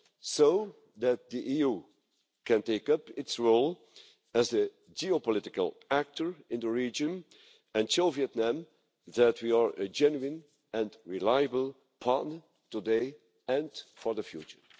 so that the EU can take up its role as a geopolitical actor in the region and show Vietnam that we are a genuine and reliable partner today and for the future.